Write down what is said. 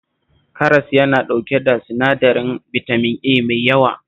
Karas yana ɗauke da sinadarin bitamin A mai yawa